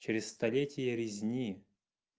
через столетия резни